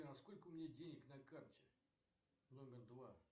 сколько у меня денег на карте номер два